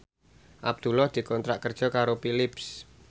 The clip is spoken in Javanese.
Abdullah dikontrak kerja karo Philips